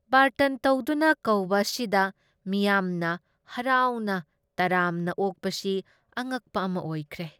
ꯕꯥꯔꯇꯟ ꯇꯧꯗꯨꯅ ꯀꯧꯕ ꯑꯁꯤꯗ ꯃꯤꯌꯥꯝꯅ ꯍꯔꯥꯎꯅ ꯇꯔꯥꯝꯅ ꯑꯣꯛꯄꯁꯤ ꯑꯉꯛꯄ ꯑꯃ ꯑꯣꯏꯈ꯭ꯔꯦ ꯫